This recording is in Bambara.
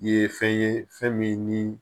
I ye fɛn ye fɛn min ni